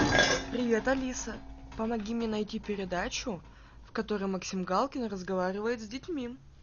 привет алиса помоги мне найти передачу в которой максим галкин разговаривает с детьми